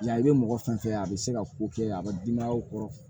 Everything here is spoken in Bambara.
Yan i bɛ mɔgɔ fɛn fɛn a bɛ se ka ko kɛ a bɛ denbayaw kɔrɔ